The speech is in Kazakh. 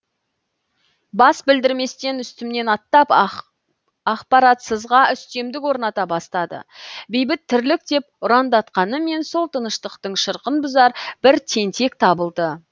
бас білдірместен үстімнен аттап ақпаратсызға үстемдік орната бастады бейбіт тірлік деп ұрандатқанымен сол таныштықтың шырқын бұзар бір тентек табылды